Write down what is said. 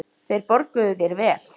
Þeir borguðu þér vel.